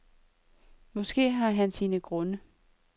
Måske har han sine grunde.